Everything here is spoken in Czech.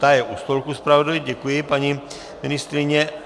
Ta je u stolku zpravodajů, děkuji, paní ministryně.